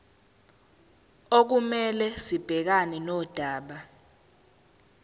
okumele sibhekane nodaba